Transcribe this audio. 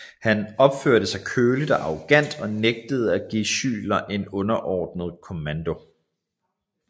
Han opførte sig køligt og arrogant og nægtede at give Schuyler en underordnet kommando